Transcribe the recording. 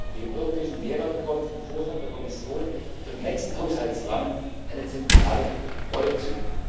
Dem europäischen Mehrwert kommt im Vorschlag der Kommission für den nächsten Haushaltsrahmen eine zentrale Rolle